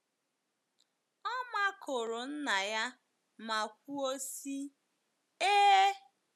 Ọ makụrụ nna ya ma kwuo sị, Ee!.